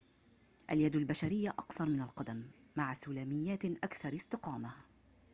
اليد البشرية أقصر من القدم مع سلاميات أكثر استقامة